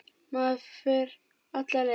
Maður fer alla leið.